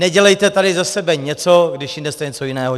Nedělejte tady ze sebe něco, když jinde jste něco jiného.